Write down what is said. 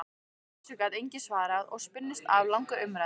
Þessu gat enginn svarað og spunnust af langar umræður.